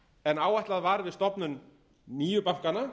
en áætlað var við stofnun nýju bankanna